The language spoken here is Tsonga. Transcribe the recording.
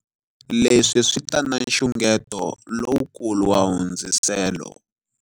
Leswi swi ta na nxungeto lowukulu wa hundziselo.